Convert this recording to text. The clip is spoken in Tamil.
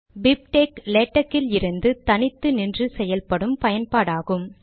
பிப்டெக்ஸ் லேடக்கிலிருந்து தனித்து நின்று செயல்படும் பயன்பாடாகும்